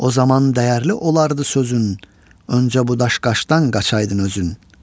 O zaman dəyərli olardı sözün, öncə bu daş-qaşdan qaçaydın özün.